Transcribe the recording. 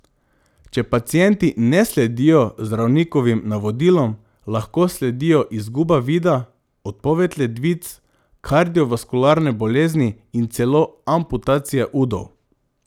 Če pacienti ne sledijo zdravnikovim navodilom, lahko sledijo izguba vida, odpoved ledvic, kardiovaskularne bolezni in celo amputacija udov.